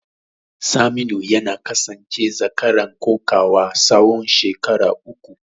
Saminu ya kasance zakaran kokawa tsawon shekaru uku.